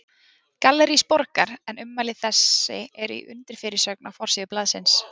Gallerís Borgar, en ummæli þessi eru í undirfyrirsögn á forsíðu blaðsins.